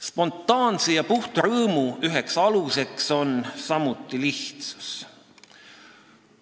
Spontaanse ja puhta rõõmu üheks aluseks on samuti lihtsus.